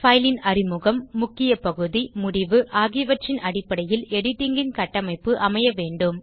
fileன் அறிமுகம் முக்கியப் பகுதி முடிவு ஆகியவற்றின் அடிப்படையில் எடிட்டிங் ன் கட்டமைப்பு அமைய வேண்டும்